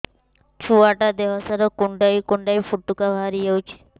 ଛୁଆ ଟା ଦେହ ସାରା କୁଣ୍ଡାଇ କୁଣ୍ଡାଇ ପୁଟୁକା ବାହାରି ଯାଉଛି